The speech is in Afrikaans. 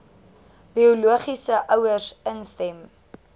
biologiese ouers instem